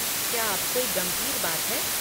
क्या अब कोई गंभीर बात है?